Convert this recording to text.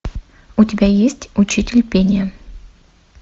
у тебя есть учитель пения